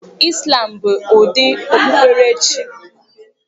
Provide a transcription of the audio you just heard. Islam bụ ụdị okpukpere chi